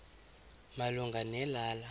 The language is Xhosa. malunga ne lala